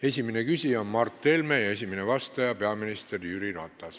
Esimene küsija on Mart Helme ja esimene vastaja peaminister Jüri Ratas.